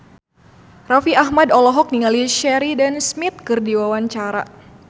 Raffi Ahmad olohok ningali Sheridan Smith keur diwawancara